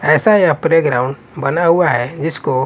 ऐसा यह प्लेग्राउंड बना हुआ है जिसको--